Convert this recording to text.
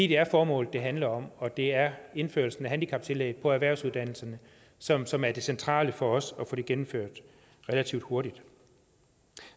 det er formålet det handler om og det er indførelsen af handicaptillæg på erhvervsuddannelserne som som er det centrale for os at få gennemført relativt hurtigt